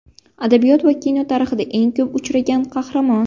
Adabiyot va kino tarixida eng ko‘p uchragan qahramon.